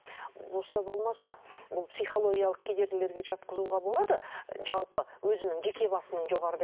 болса болмаса бұл психологиялық кедергілерге жатқызуға болады жалпы өзінің жеке басының жоғарыда